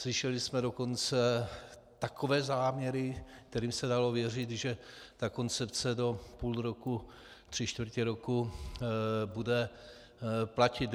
Slyšeli jsme dokonce takové záměry, kterým se dalo věřit, že ta koncepce do půl roku, tři čtvrtě roku bude platit.